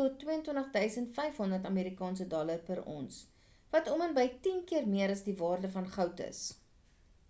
tot $22 500 per ons wat om en by tien keer meer as die waarde van goud is